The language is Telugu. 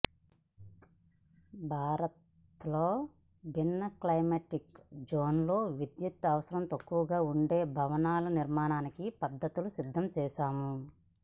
భారత్లో భిన్న క్లైమాటిక్ జోన్లలో విద్యుత్తు అవసరం తక్కువగా ఉండే భవనాల నిర్మాణానికి పద్ధతులు సిద్ధం చేశాము